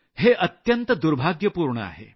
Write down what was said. हे अत्यंत दुर्भाग्यपूर्ण आहे